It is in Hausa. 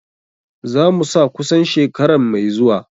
Za mu sa kusan shekaran mai zuwa.